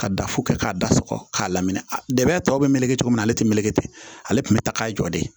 Ka da fo kɛ k'a da sɔgɔ k'a lamini a dɛmɛ tɔ bɛ meleke cogo min na ale tɛ meleke ten ale tun bɛ ta k'a jɔ de